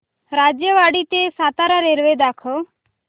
राजेवाडी ते सातारा रेल्वे दाखव